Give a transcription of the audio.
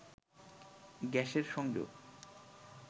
গ্যাসের সংযোগ